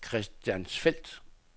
Christiansfeld